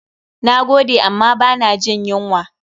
Na gode amma ba na jin yunwa.